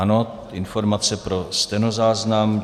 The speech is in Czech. Ano, informace pro stenozáznam.